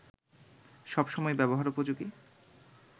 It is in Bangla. সব সময় ব্যবহারোপযোগী